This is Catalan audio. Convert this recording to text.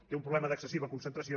té un problema d’excessiva concentració